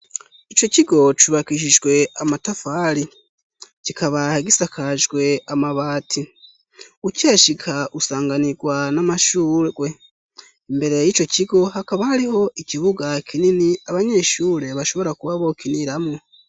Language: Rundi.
Ico kigo cubakisijwe amatafari kikaba gisakajwe amabati. Ukihashika, usanganirwa n'amashurwe. Imbere y'ico kigo hakaba hariho ikibuga kinini abanyeshure bashobora kuba bokiniramwo.